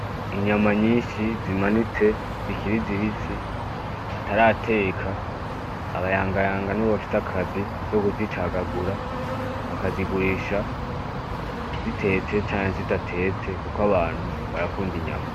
Inyama nyinshi zimanitse zikiri zibisi batarateka, abayangayanga nibo bafise akazi zo kuzicagagura bakizigurisha zitetse canke zidatetse kuko abantu barakunda inyama.